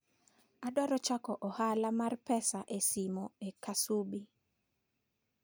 Adwaro chako ohala mar pesa e simo e Kasubi.